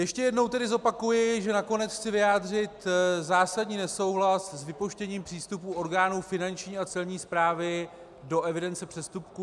Ještě jednou tedy zopakuji, že nakonec chci vyjádřit zásadní nesouhlas s vypouštěním přístupu orgánů Finanční a Celní správy do evidence přestupků.